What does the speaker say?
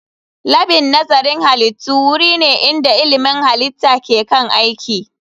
Labin nazarin halittu wuri ne inda ilmin halitta ke kan aiki